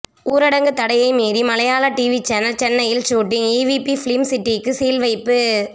ஊரடங்கு தடையை மீறி மலையாள டிவி சேனல் சென்னையில் ஷூட்டிங் ஈவிபி பிலிம் சிட்டிக்கு சீல் வைப்பு